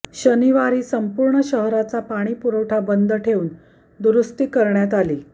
शनिवारी संपूर्ण शहराचा पाणीपुरवठा बंद ठेऊन दुरुस्ती करण्यात आली